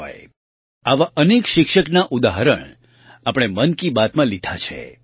જી હોય આવાં અનેક શિક્ષકનાં ઉદાહરણ આપણે મન કી બાતમાં લીધાં છે